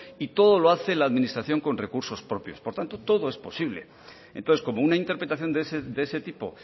y todo lo hace la administración con recursos propios por tanto todo es posible entonces como una interpretación de ese tipo